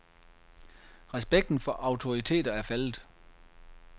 Respekten for autoriteter er faldet.